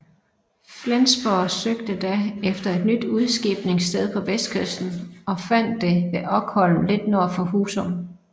Flensborg søgte da efter et nyt udskibningssted på vestkysten og fandt det ved Okholm lidt nord for Husum